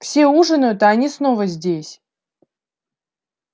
все ужинают а они снова здесь